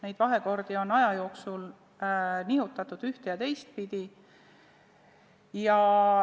Neid vahekordi on aja jooksul nihutatud ühte- ja teistpidi.